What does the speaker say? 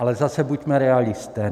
Ale zase buďme realisté.